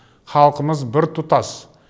халқымыз біртұтас